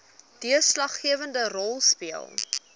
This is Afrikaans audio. deurslaggewende rol speel